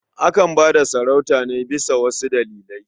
Akan ba da sarauta ne bisa wasu dalilai.